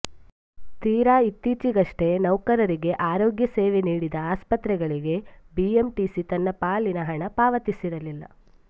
ತೀರಾ ಇತ್ತೀಚೆಗಷ್ಟೇ ನೌಕರರಿಗೆ ಆರೋಗ್ಯ ಸೇವೆ ನೀಡಿದ ಆಸ್ಪತ್ರೆಗಳಿಗೆ ಬಿಎಂಟಿಸಿ ತನ್ನ ಪಾಲಿನ ಹಣ ಪಾವತಿಸಿರಲಿಲ್ಲ